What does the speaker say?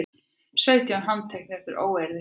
Sautján handteknir eftir óeirðir